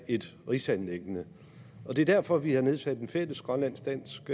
et rigsanliggende det er derfor vi har nedsat en fælles grønlandsk dansk